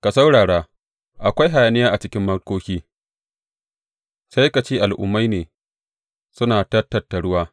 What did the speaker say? Ka saurara, akwai hayaniya a cikin mulkoki, sai ka ce al’ummai ne suna ta tattaruwa!